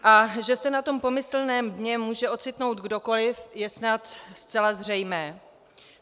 A že se na tom pomyslném dně může ocitnout kdokoliv, je snad zcela zřejmé.